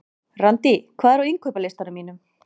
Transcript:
Randý, hvað er á innkaupalistanum mínum?